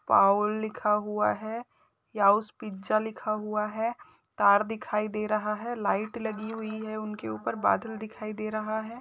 पाउल लिखा हुआ है याउस पिज्जा लिखा हुआ है तार दिखाई दे रहा है लाइट लगी हुई है उनके ऊपर बादल दिखाई रहा है।